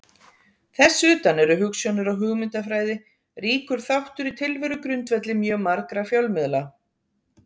Þess utan eru hugsjónir og hugmyndafræði ríkur þáttur í tilverugrundvelli mjög margra fjölmiðla.